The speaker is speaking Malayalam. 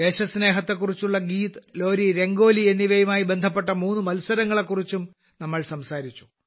ദേശസ്നേഹത്തെ കുറിച്ചുള്ള ഗീത് ലോരീ രംഗോലി എന്നിവയുമായി ബന്ധപ്പെട്ട മൂന്ന് മത്സരങ്ങളെക്കുറിച്ചും നമ്മൾ സംസാരിച്ചു